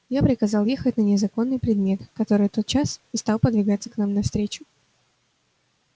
я приказал ехать на незаконный предмет который тотчас и стал подвигаться нам навстречу